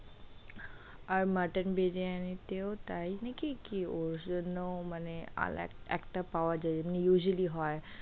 আর mutton biryani তেও তাই নাকি, কি ওর জন্য ও মানে একটা পাওয়া যাই যেমন usually হয়।